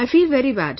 I feel very bad